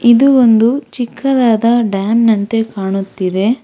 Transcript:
ಇದು ಒಂದು ಚಿಕ್ಕದಾದ ಡ್ಯಾಮ್ನಂತೆ ಕಾಣುತ್ತಿದೆ.